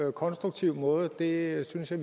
en konstruktiv måde og det synes jeg